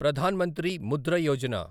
Pradhan Mantri Mudra Yojana